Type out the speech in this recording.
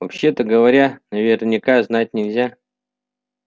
вообще-то говоря наверняка знать нельзя